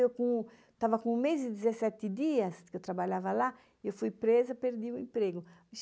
Eu estava com um mês e dezessete dias, eu trabalhava lá, eu fui presa, perdi o emprego.